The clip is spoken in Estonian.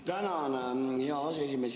Tänan, hea aseesimees!